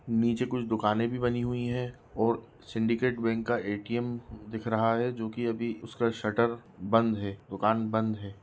नीचे कुछ दुकानें भी बनी हुई हैं और सिंडिकेट बैंक का ए.टी.एम. दिख रहा है जो कि अभी उसका शटर बंद है दुकान बंद है।